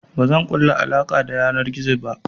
Bazan ƙulla alaƙa ta yanar gizo ba.